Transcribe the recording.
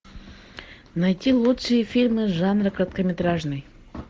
найти лучшие фильмы жанра короткометражный